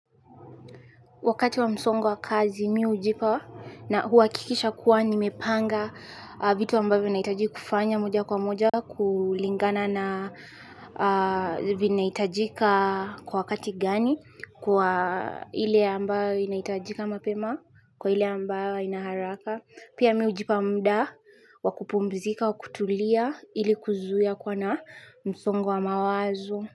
Wakati wa msongo wa kazi mimi hujipa na huhakikisha kuwa nimepanga vitu ambavyo nahitaji kufanya moja kwa moja kulingana na vinahitajika kwa wakati gani kwa ile ambayo inaitajika mapema kwa ile ambayo haina haraka pia mimi hujipa muda wakupumzika wakutulia ili kuzuia kuwa na msongo wa mawazo.